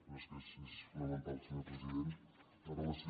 però és que és fonamental senyor president amb relació